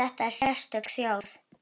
Þetta er sérstök þjóð.